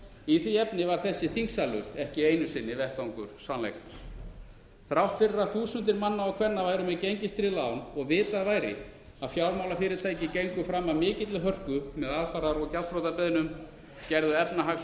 í því efni var þessi þingsalur ekki einu sinni vettvangur sannleikans þrátt fyrir að þúsundir manna og kvenna væru með gengistryggð lán og vitað væri að fjármálafyrirtæki gengu fram af mikilli hörku með aðfarar og gjaldþrotabeiðnum gerðu efnahags og